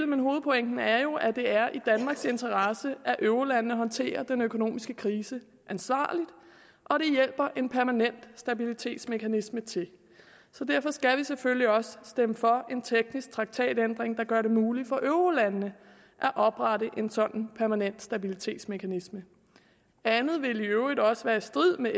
men hovedpointen er jo at det er i danmarks interesse at eurolandene håndterer den økonomiske krise ansvarligt og det hjælper en permanent stabilitetsmekanisme til så derfor skal vi selvfølgelig også stemme for en teknisk traktatændring der gør det muligt for eurolandene at oprette en sådan permanent stabilitetsmekanisme andet vil i øvrigt også være i strid med